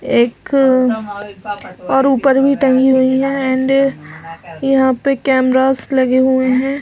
एक और ऊपर भी टंगी हुई है एंड यहाँ पर कैमरास भी लगे हुए है।